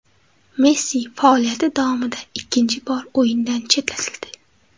Messi faoliyati davomida ikkinchi bor o‘yindan chetlatildi.